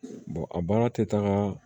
a baara tɛ taaga